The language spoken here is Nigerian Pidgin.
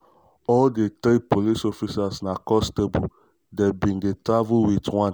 all di three police officers na constables - dem bin dey travel wit one